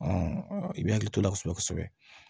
i b'i hakili to ala kosɛbɛ kosɛbɛ